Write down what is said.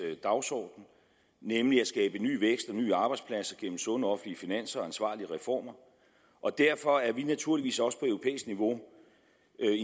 dagsorden nemlig at skabe ny vækst og nye arbejdspladser gennem sunde offentlige finanser og ansvarlige reformer og derfor er vi naturligvis også på europæisk niveau